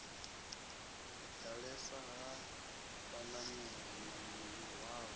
ḓalesa ha vhanameli na mihwalo